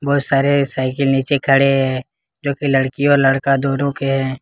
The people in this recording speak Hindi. वह सारे साइकिल के नीचे खड़े हैं जो की लड़की और लड़का दोनों के हैं।